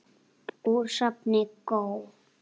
Úr safni GÓ.